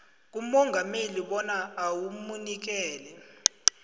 kumongameli bona awamukele